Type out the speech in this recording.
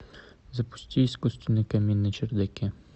запусти искусственный камин на чердаке